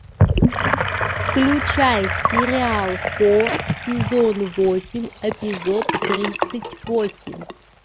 включай сериал хор сезон восемь эпизод тридцать восемь